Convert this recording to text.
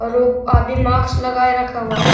और वो मास्क लगाए रखा हुआ है।